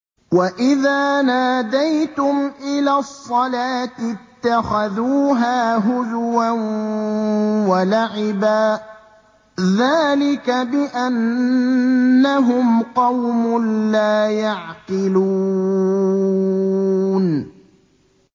وَإِذَا نَادَيْتُمْ إِلَى الصَّلَاةِ اتَّخَذُوهَا هُزُوًا وَلَعِبًا ۚ ذَٰلِكَ بِأَنَّهُمْ قَوْمٌ لَّا يَعْقِلُونَ